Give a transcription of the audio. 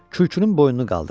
Kürküünün boynunu qaldırdı.